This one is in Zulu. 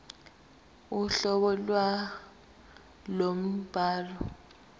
uhlobo lwalowo mbhalo